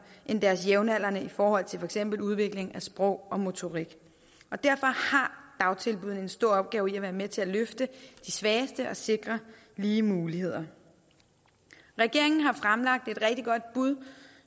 end deres jævnaldrende i forhold til for eksempel udvikling af sprog og motorik og derfor har dagtilbuddene en stor opgave i at være med til at løfte de svageste og sikre lige muligheder regeringen har fremlagt et rigtig godt bud